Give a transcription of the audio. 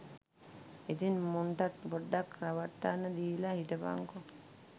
ඉතින් මුන්ටත් පොඩ්ඩක් රවට්ටන්න දීල හිටපන්කො